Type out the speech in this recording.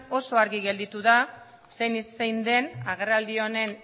oso argi gelditu da zein den agerraldi honen